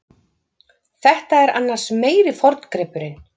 Þetta er annars meiri forngripurinn.